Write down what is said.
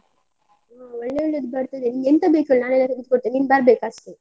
ಹಾ ಒಳ್ಳೆ ಒಳ್ಳೇದು ಬರ್ತದೆ, ನಿಂಗೆ ಎಂತ ಬೇಕು ಹೇಳು ನಾನ್ ಎಲ್ಲ ತೆಗ್ದು ಕೊಡ್ತೇನೆ, ನೀನ್ ಬರ್ಬೇಕು ಅಷ್ಟೆ.